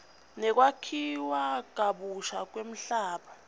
nekwakhiwa kabusha kwemhlaba